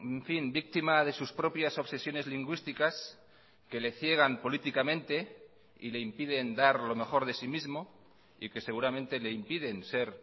en fin víctima de sus propias obsesiones lingüísticas que le ciegan políticamente y le impiden dar lo mejor de sí mismo y que seguramente le impiden ser